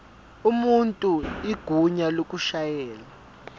umuntu igunya lokushayela